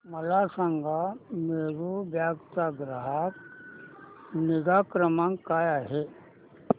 मला सांगा मेरू कॅब चा ग्राहक निगा क्रमांक काय आहे